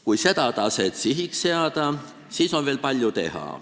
Kui see tase sihiks seada, siis on veel palju teha.